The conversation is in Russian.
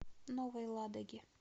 новой ладоге